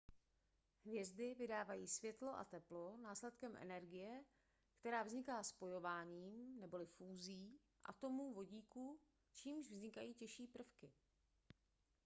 hvězdy vydávají světlo a teplo následkem energie která vzniká spojováním neboli fúzí atomů vodíku čímž vznikají těžší prvky